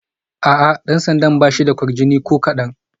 A'a, dan sandan ba shi da kwarjini ko kadan